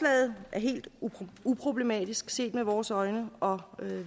helt uproblematisk set med vores øjne og